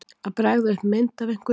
Að bregða upp mynd af einhverju